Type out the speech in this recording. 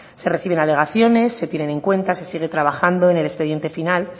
se reciben alegaciones se tienen en cuenta se sigue trabajando en el expediente final